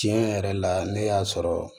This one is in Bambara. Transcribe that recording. Tiɲɛ yɛrɛ la ne y'a sɔrɔ